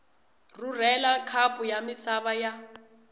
rhurhela khapu ya misava ya